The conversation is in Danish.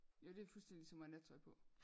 Jo det er fuldstændig ligesom at have nattøj på